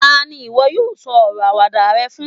tani iwọ yíò sọ ọrọ Àwàdà rẹ fún